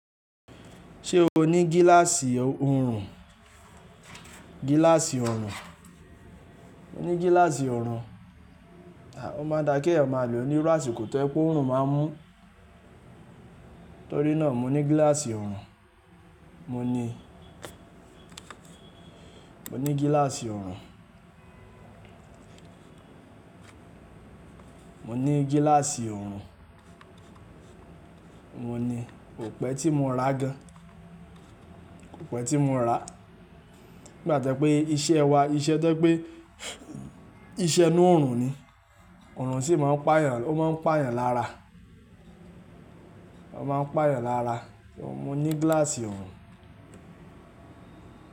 Ṣé o ní gíláàsì oòrùn? Gíláàsì oòrùn. Mo ní gíláàsì oòrùn. Òún máa ń dà kí èèyàn máa lò ó ní rásì kò tọ́ ẹ pé oòrùn máa ń mú. Nítorí náà mo ní gíláàsì oòrùn. Mo ní, mo ní gíláàsì oòrùn. Mo ní gíláàsì oòrùn. Mo ní, kò pẹ́ tí mo ra gan. Kò pẹ́ tí mo rà. Nigbàtẹ́ pé iṣẹ́ wa, iṣẹ́ tẹ́ pé iṣẹ́ inú oòrùn ni. Oòrùn sì máa ń pà yàn, o máa ń pà yàn lára. O máa ń pà yàn lára. Mo ní gíláàsì oòrùn.